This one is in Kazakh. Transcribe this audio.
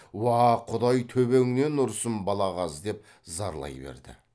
уа құдай төбеңнен ұрсын балағаз деп зарлай берді